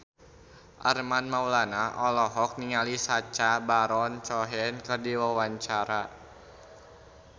Armand Maulana olohok ningali Sacha Baron Cohen keur diwawancara